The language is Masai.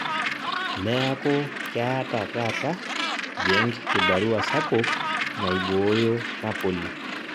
Neaku keeta taata Genk kibarua sapuk naibooyo Napoli